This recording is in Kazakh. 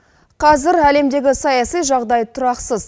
қазір әлемдегі саяси жағдай тұрақсыз